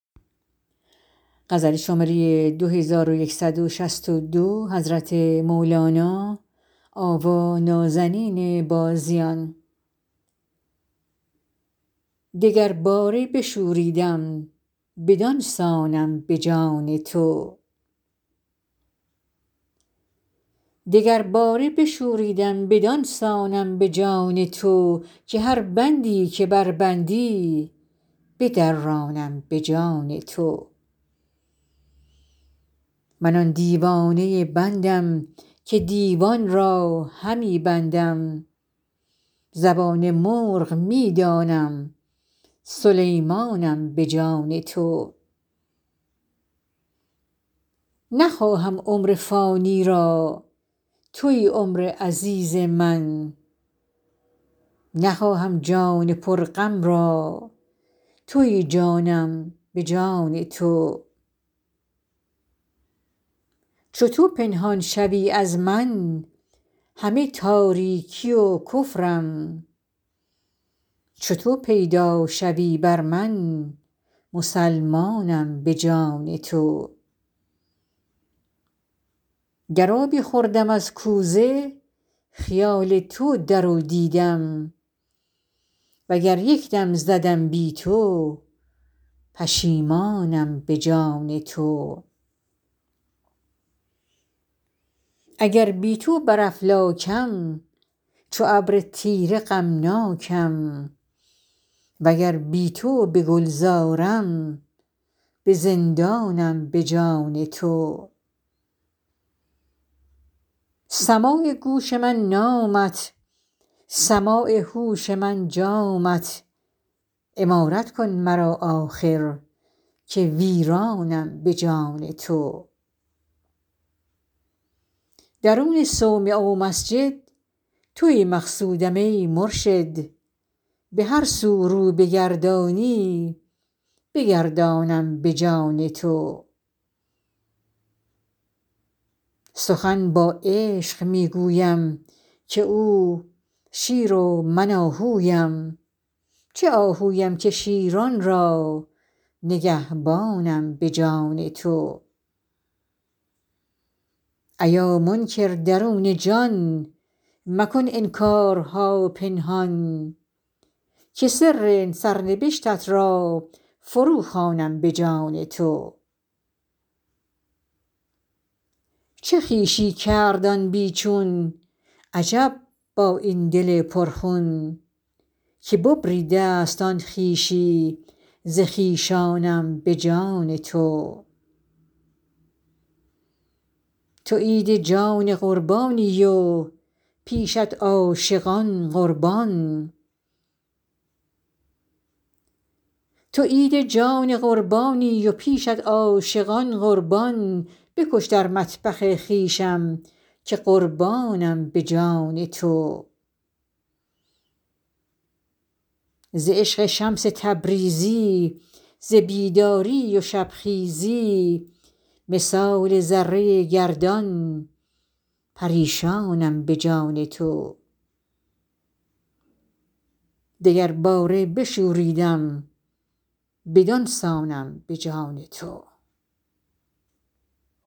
دگرباره بشوریدم بدان سانم به جان تو که هر بندی که بربندی بدرانم به جان تو من آن دیوانه بندم که دیوان را همی بندم زبان مرغ می دانم سلیمانم به جان تو نخواهم عمر فانی را توی عمر عزیز من نخواهم جان پرغم را توی جانم به جان تو چو تو پنهان شوی از من همه تاریکی و کفرم چو تو پیدا شوی بر من مسلمانم به جان تو گر آبی خوردم از کوزه خیال تو در او دیدم وگر یک دم زدم بی تو پشیمانم به جان تو اگر بی تو بر افلاکم چو ابر تیره غمناکم وگر بی تو به گلزارم به زندانم به جان تو سماع گوش من نامت سماع هوش من جامت عمارت کن مرا آخر که ویرانم به جان تو درون صومعه و مسجد توی مقصودم ای مرشد به هر سو رو بگردانی بگردانم به جان تو سخن با عشق می گویم که او شیر و من آهویم چه آهویم که شیران را نگهبانم به جان تو ایا منکر درون جان مکن انکارها پنهان که سر سرنبشتت را فروخوانم به جان تو چه خویشی کرد آن بی چون عجب با این دل پرخون که ببریده ست آن خویشی ز خویشانم به جان تو تو عید جان قربانی و پیشت عاشقان قربان بکش در مطبخ خویشم که قربانم به جان تو ز عشق شمس تبریزی ز بیداری و شبخیزی مثال ذره گردان پریشانم به جان تو